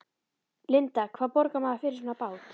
Linda: Hvað borgar maður fyrir svona bát?